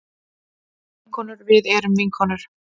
Vinkonur við erum vinkonur.